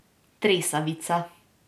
Tresavica.